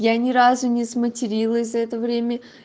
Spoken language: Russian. я ни разу не сматерилась за это время